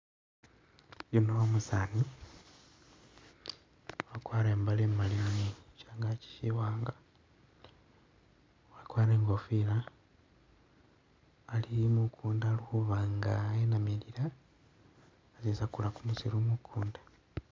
Yuno umusaani wakwarire i'mbale imali shangaki siwanga, wakwarire i'ngofila ali mukuunda ali khuba nga enamilila asisakula kumusiru mukuunda.